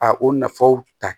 A o nafaw ta